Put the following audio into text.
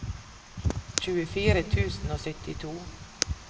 tjuefire tusen og syttito